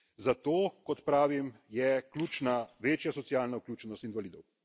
Zato, kot pravim, je ključna večja socialna vključenost invalidov.